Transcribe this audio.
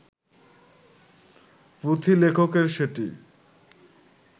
পুঁথিলেখকের সেটি